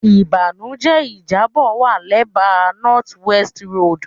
Ibanujẹ ijabọ wa lẹba North West Road